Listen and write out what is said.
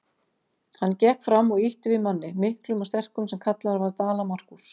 Hann gekk fram og ýtti við manni, miklum og sterkum, sem kallaður var Dala-Markús.